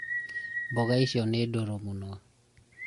mboga icio nĩ ndũrũ mũno